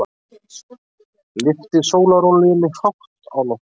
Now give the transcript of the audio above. Lyfti sólarolíunni hátt á loft.